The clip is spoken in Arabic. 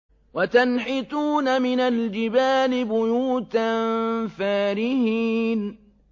وَتَنْحِتُونَ مِنَ الْجِبَالِ بُيُوتًا فَارِهِينَ